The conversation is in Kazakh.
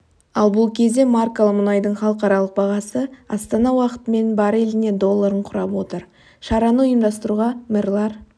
ал бұл кезде маркалы мұнайдың халықаралық бағасы астана уақытымен бареліне долларын құрап отыр шараны ұйымдастыруға мэрлар